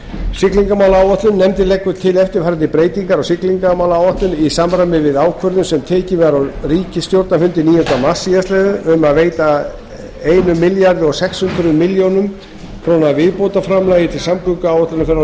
siglingamálaáætlun nefndin leggur til eftirfarandi breytingar á siglingamálaáætlun í samræmi við ákvörðun sem tekin var á ríkisstjórnarfundi níunda mars síðastliðinn um að veita sextán hundruð milljóna króna viðbótarframlag til samgönguáætlunar fyrir árið